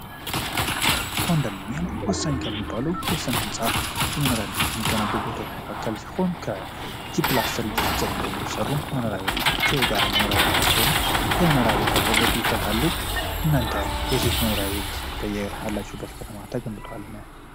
ኮንዶሚኒየሞ የመኖሪያ ህንጻዎች መካከል ሲሆን ከጂፕላስ ጀምሮ የሚገነቡ የጋራ መኖሪያ ቤቶች ሲሆኑ የመኖሪያ ቤት አቅርቦት ይፈልጋሉ። እናንተ እነዚህ በምትኖርበት ከተማ ተገንብቷልን?